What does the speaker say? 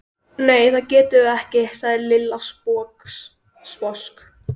Nei, það getum við ekki sagði Lilla sposk.